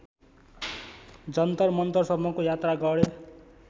जन्तरमन्तरसम्मको यात्रा गरे